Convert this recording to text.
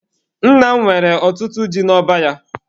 Nna m nwere ọtụtụ ji n'ọba ya.